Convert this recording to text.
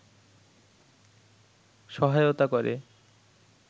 সহায়তা করে